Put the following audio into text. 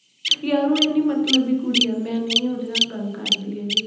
ਯਾਰ ਉਹ ਇੰਨੀ ਮਤਲਬੀ ਕੁੜੀ ਆ ਮੈਂ ਨਹੀਂ ਉਹਦੇ ਨਾਲ ਗੱਲ ਕਰਦੀ ਹੈਗੀ।